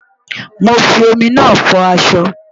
Mo fi omi náà fọ aṣọ.